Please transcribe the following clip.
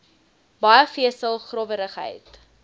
baie vesel growwerigheid